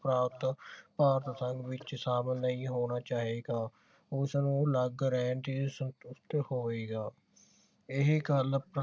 ਪ੍ਰਾਂਤ ਭਾਰਤ ਵਿਚ ਸ਼ਾਮਿਲ ਨਹੀਂ ਹੋਣਾ ਚਾਹੇਗਾ ਉਸ ਨੂੰ ਅਲਗ ਰਹਿਣ ਤੇ ਹੋਏਗਾ ਇਹੀ ਗੱਲ